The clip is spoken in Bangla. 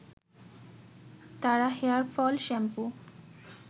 তারা হেয়ার ফল শ্যাম্পু